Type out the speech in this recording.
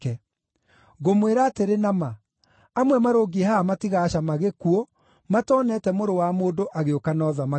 Ngũmwĩra atĩrĩ na ma, amwe marũngiĩ haha matigacama gĩkuũ matonete Mũrũ wa Mũndũ agĩũka na ũthamaki wake.”